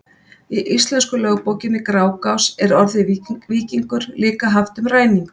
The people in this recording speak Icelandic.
í íslensku lögbókinni grágás er orðið víkingur líka haft um ræningja